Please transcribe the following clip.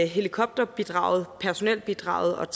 helikopterbidraget personelbidraget